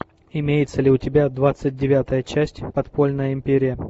имеется ли у тебя двадцать девятая часть подпольная империя